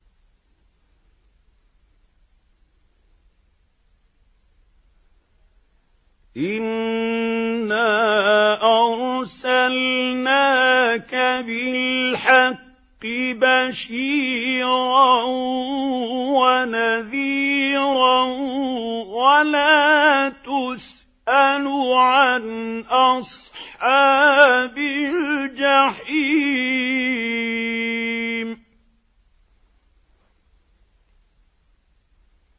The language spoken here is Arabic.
إِنَّا أَرْسَلْنَاكَ بِالْحَقِّ بَشِيرًا وَنَذِيرًا ۖ وَلَا تُسْأَلُ عَنْ أَصْحَابِ الْجَحِيمِ